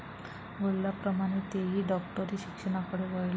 वडिलांप्रमाणे तेही डॉक्टरी शिक्षणाकडे वळले.